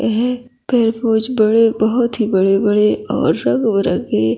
यह तरबूज बड़े बहोत ही बड़े-बड़े और रंग-बिरंगे--